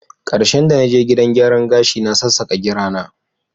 Karshen da na je gidan gyaran gashi, na sassaka gira na.